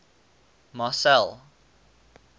marcel